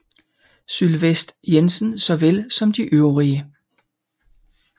Sylvest Jensen såvel som de øvrige